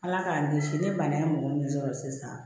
Ala k'an kisi ni bana ye mɔgɔ min sɔrɔ sisan